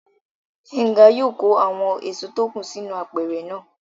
Gbénga yóò kó àwọn èso tó kù sínú apẹ̀rẹ̀ náà